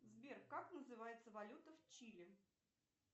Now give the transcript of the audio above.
сбер как называется валюта в чили